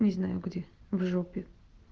не знаю где в жопе